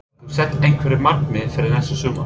Hefurðu sett einhver markmið fyrir næsta sumar?